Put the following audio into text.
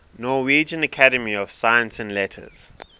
norwegian academy of science and letters